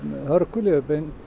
hörgul ég hef